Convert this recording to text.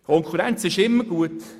Konkurrenz ist immer gut.